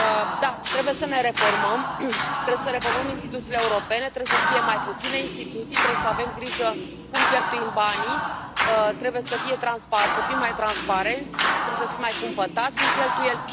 Da, trebuie să ne reformăm, trebuie să reformăm instituțiile europene, trebuie să fie mai puține instituții, trebuie să avem grijă cum cheltuim banii, trebuie să fim mai transparenți, trebuie să fim mai cumpătați în cheltuieli.